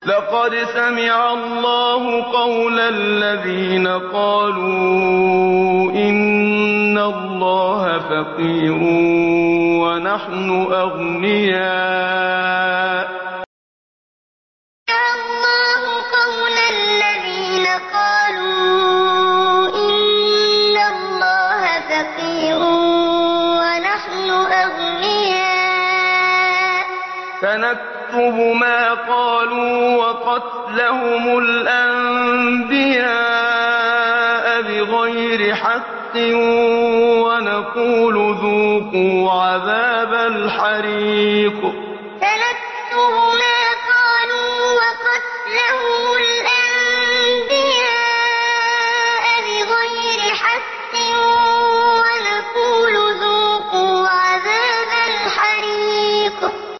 لَّقَدْ سَمِعَ اللَّهُ قَوْلَ الَّذِينَ قَالُوا إِنَّ اللَّهَ فَقِيرٌ وَنَحْنُ أَغْنِيَاءُ ۘ سَنَكْتُبُ مَا قَالُوا وَقَتْلَهُمُ الْأَنبِيَاءَ بِغَيْرِ حَقٍّ وَنَقُولُ ذُوقُوا عَذَابَ الْحَرِيقِ لَّقَدْ سَمِعَ اللَّهُ قَوْلَ الَّذِينَ قَالُوا إِنَّ اللَّهَ فَقِيرٌ وَنَحْنُ أَغْنِيَاءُ ۘ سَنَكْتُبُ مَا قَالُوا وَقَتْلَهُمُ الْأَنبِيَاءَ بِغَيْرِ حَقٍّ وَنَقُولُ ذُوقُوا عَذَابَ الْحَرِيقِ